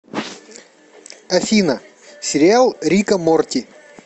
афина сериал рика морти